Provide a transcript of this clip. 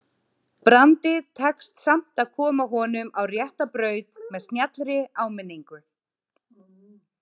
Brandi tekst samt að koma honum á rétta braut með snjallri áminningu.